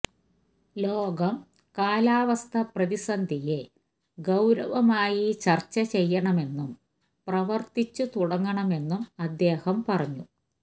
ലോകം കാലാവസ്ഥാ പ്രതിസന്ധിയെ ഗൌരമായി ചര്ച്ച ചെയ്യണമെന്നും പ്രവര്ത്തിച്ചു തുടങ്ങണമെന്നും അദ്ദേഹം പറഞ്ഞു